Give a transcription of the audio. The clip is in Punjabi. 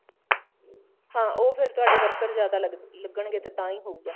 ਹਾਂ ਉਹ ਫ਼ੇਰ ਤੁਹਾਡੇ worker ਜਿਆਦਾ ਲੱਗਣ ਗੇ ਤਾਂ ਤਾਂਹੀ ਹੋਊਗਾ